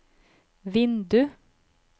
vindu